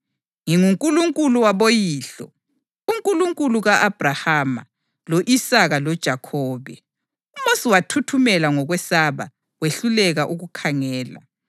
‘NginguNkulunkulu waboyihlo, uNkulunkulu ka-Abhrahama, lo-Isaka loJakhobe.’ + 7.32 U-Eksodasi 3.6 UMosi wathuthumela ngokwesaba wehluleka ukukhangela.